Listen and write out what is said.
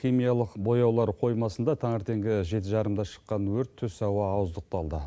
химиялық бояулар қоймасында таңертеңгі жеті жарымда шыққан өрт түс ауа ауыздықталды